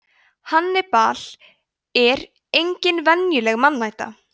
hannibal er engin venjuleg mannæta